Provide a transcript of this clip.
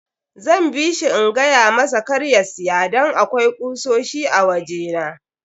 Zan bishi in gayamasa kar ya siya don akwai kusoshi a waje na.